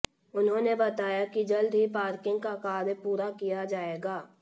उन्होंने बताया कि जल्द ही पार्किंग का कार्य पूरा किया जाएगा